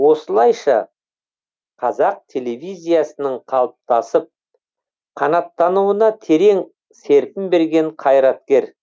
осылайша қазақ телевизиясының қалыптасып қанаттануына терең серпін берген қайраткер